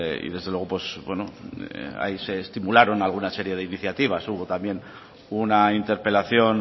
y desde luego ahí se estimularon alguna serie de iniciativas hubo también una interpelación